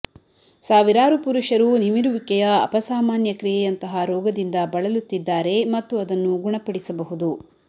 ಸಾವಿರಾರು ಪುರುಷರು ನಿಮಿರುವಿಕೆಯ ಅಪಸಾಮಾನ್ಯ ಕ್ರಿಯೆಯಂತಹ ರೋಗದಿಂದ ಬಳಲುತ್ತಿದ್ದಾರೆ ಮತ್ತು ಅದನ್ನು ಗುಣಪಡಿಸಬಹುದು